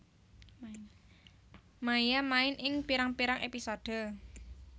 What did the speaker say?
Maia main ing pirang pirang episode